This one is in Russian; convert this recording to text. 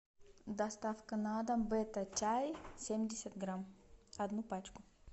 доставка на дом бета чай семьдесят грамм одну пачку